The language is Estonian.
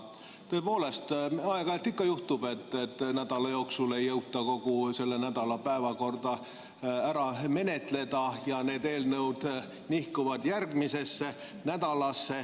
Tõepoolest, aeg-ajalt ikka juhtub, et nädala jooksul ei jõuta kogu selle nädala päevakorda ära menetleda ja need eelnõud nihkuvad järgmisesse nädalasse.